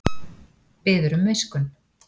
Biður um miskunn